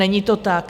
Není to tak.